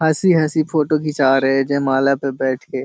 हँसी हँसी फोटो खींचा रहे है जयमाला पे बैठ के।